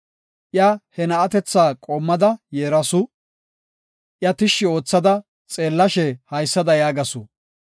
Iya he na7atetha qoommada yeerasu; iya tishshi oothada xeellashe haysada yaagasu;